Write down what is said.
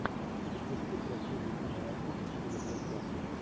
запусти красивую киноработу в стиле блокбастера